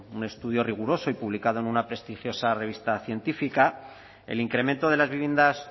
un estudio riguroso y publicado en la prestigiosa revista científica el incremento de las viviendas